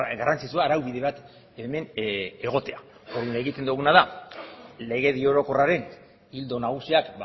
garrantzitsua araubide bat hemen egotea orduan egiten duguna da legedi orokorraren ildo nagusiak